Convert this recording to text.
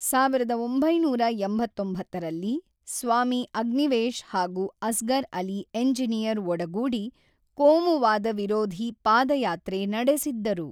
ಸಾವಿರದ ಒಂಬೈನೂರ ಎಂಬತ್ತೊಂಬತ್ತರಲ್ಲಿ ಸ್ವಾಮಿ ಅಗ್ನಿವೇಶ್ ಹಾಗು ಅಸ್ಗರ್ ಅಲಿ ಎಂಜಿನಿಯರ್ ಒಡಗೂಡಿ ಕೋಮುವಾದ ವಿರೋಧಿ ಪಾದಯಾತ್ರೆ ನಡೆಸಿದ್ದರು.